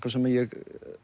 sem ég